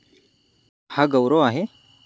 हा गौरव आहे?